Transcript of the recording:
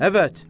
Əvət.